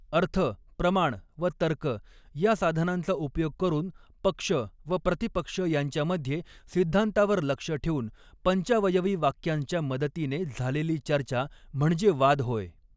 अर्थ प्रमाण व तर्क या साधनांचा उपयोग करून पक्ष व प्रतिपक्ष यांच्यामध्ये सिद्धान्तावर लक्ष ठेवून पञ्चावयवी वाक्यांच्या मदतीने झालेली चर्चा म्हणजे वाद होय.